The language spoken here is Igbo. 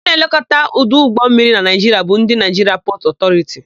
Ndị na-elekọta ọdụ ụgbọmmiri na Naịjiria bụ ndị Naịjiria Pọtụ Ọtọriti.